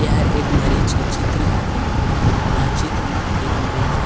एहर एक मरीज के चित्र हरे ए चित्र म एक मरीज ह--